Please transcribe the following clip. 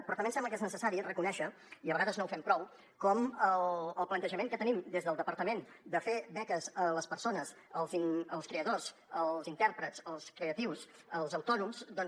però també ens sembla que és necessari reconèixer i a vegades no ho fem prou com el plantejament que tenim des del departament de fer beques a les persones als creadors als intèrprets als creatius als autònoms doncs